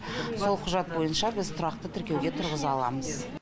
сол құжат бойынша біз тұрақты тіркеуге тұрғыза аламыз